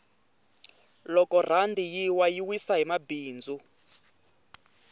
loko rhandi yi wa yi wisa ni mabindzu